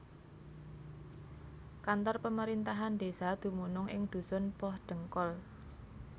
Kantor pemerintahan desa dumunung ing dusun Pohdengkol